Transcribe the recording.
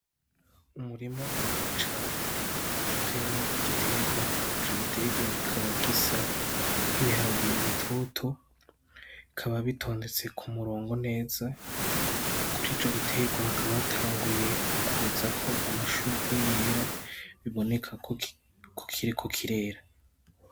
Umurima munini cane uteyemwo igiterwa ico giterwa kikaba gisa nk'ibiharage bitoto, bikaba bitondetse k'umurongo neza, kuri ico giterwa hakaba hatanguye kuzako amashurwe yera biboneka ko kiriko kirera.